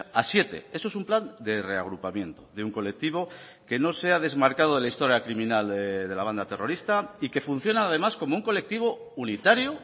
a siete eso es un plan de reagrupamiento de un colectivo que no se ha desmarcado de la historia criminal de la banda terrorista y que funciona además como un colectivo unitario